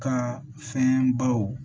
Ka fɛn baw